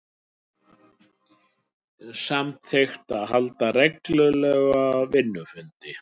Samþykkt að halda reglulega vinnufundi